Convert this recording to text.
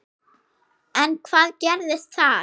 En hvað gerðist þar?